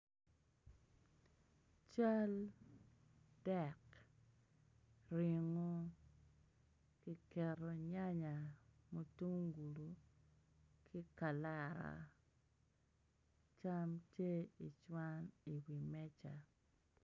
Cal dek ringo kiketo nyanya ki mutungulu ki kalara cam tye i wi meja.